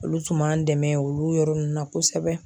Olu tun b'an dɛmɛ olu yɔrɔ ninnu na kosɛbɛ.